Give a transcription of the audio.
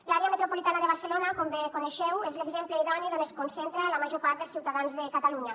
l’àrea metropolitana de barcelona com bé coneixeu és l’exemple idoni d’on es concentra la major part dels ciutadans de catalunya